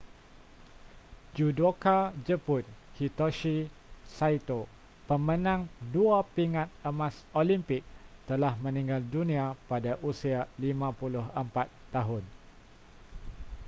judoka jepun hitoshi saito pemenang dua pingat emas olimpik telah meninggal dunia pada usia 54 tahun